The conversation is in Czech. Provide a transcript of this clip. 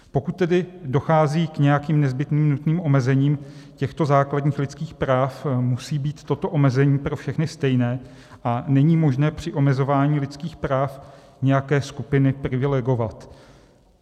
Pokud tedy dochází k nějakým nezbytným nutným omezením těchto základních lidských práv, musí být toto omezení pro všechny stejné a není možné při omezování lidských práv nějaké skupiny privilegovat.